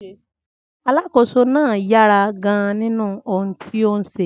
Alákòóso náà yára gan-an nínú ohun tí ó ń ṣe.